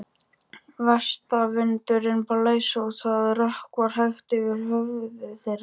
Vestanvindurinn blæs og það rökkvar hægt yfir höfði þeirra.